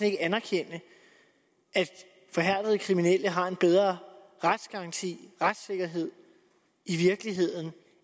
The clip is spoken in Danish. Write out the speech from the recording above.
ikke anerkende at forhærdede kriminelle har en bedre retsgaranti retssikkerhed i virkeligheden